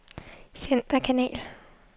centerkanal